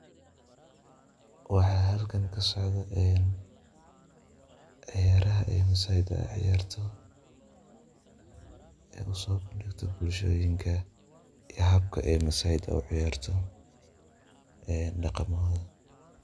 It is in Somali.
Waxa halkan kasocdah, ciyaarhavee ciyaarta ee lo digatoh bulshada yabata ee maasayda u ciyaartoh ee daqamahoot .